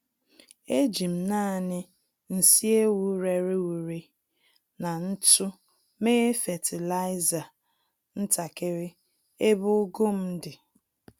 Ejim nani nsị ewu rere ure na ntụ mee fatịlaịza ntakiri ebe ugu m di